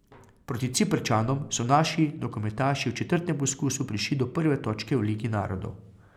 Proti Ciprčanom so naši nogometaši v četrtem poskusu prišli do prve točke v Ligi narodov.